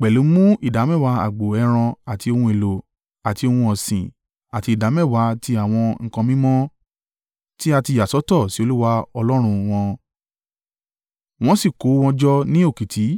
pẹ̀lú mú ìdámẹ́wàá agbo ẹran àti ohun èlò àti ohun ọ̀sìn àti ìdámẹ́wàá ti àwọn nǹkan mímọ́ tí a ti yà sọ́tọ̀ sí Olúwa Ọlọ́run wọn, wọ́n sì kó wọn jọ ní òkìtì.